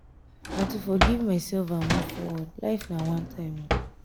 na to forgive my self and move forward life na one time.